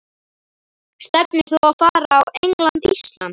Stefnir þú á að fara á England- Ísland?